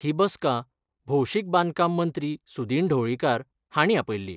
ही बसका भौशीक बांदकाम मंत्री सुदिन ढवळीकार हांणी आपयल्ली.